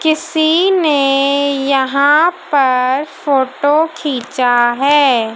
किसी ने यहां पर फोटो खींचा है।